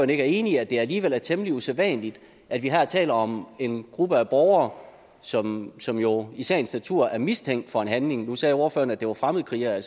enig i at det alligevel er temmelig usædvanligt at vi her taler om en gruppe af borgere som som jo i sagens natur er mistænkt for en handling nu sagde ordføreren at det var fremmedkrigere